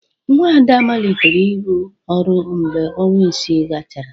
Nwa Ada malitere ịrụ ọrụ mgbe ọnwa isii gachara.